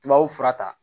Tubabu fura ta